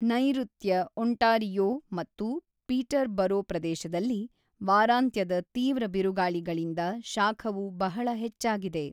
ನೈಋತ್ಯ ಒಂಟಾರಿಯೊ ಮತ್ತು ಪೀಟರ್‌ಬರೋ ಪ್ರದೇಶದಲ್ಲಿ ವಾರಾಂತ್ಯದ ತೀವ್ರ ಬಿರುಗಾಳಿಗಳಿಂದ ಶಾಖವು ಬಹಳ ಹೆಚ್ಚಾಗಿದೆ.